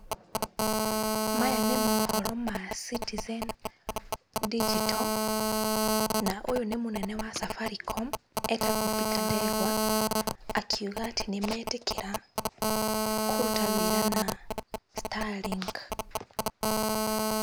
Maya nĩ mũhoro ma Citizen ndinjito na ũyũ nĩ mũnene wa Safaricom etagwo Peter ndegwa akiuga atĩ nĩ metĩkĩra kũruta wĩra na starlink.